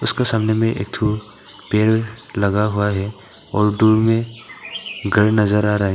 उसका सामने में एक ठो पेड़ लगा हुआ है और दूर में घर नजर आ रहा है।